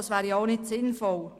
Das wäre ja auch nicht sinnvoll.